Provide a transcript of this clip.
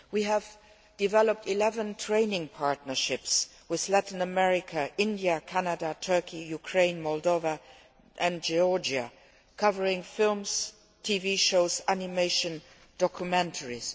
We have developed 11 training partnerships with Latin America, India, Canada, Turkey, Ukraine, Moldova and Georgia covering films, TV shows, animation, documentaries.